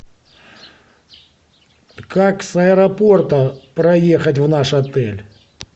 как с аэропорта проехать в наш отель